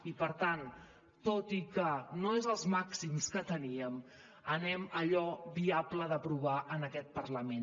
i per tant tot i que no són els màxims que teníem anem a allò viable d’aprovar en aquest parlament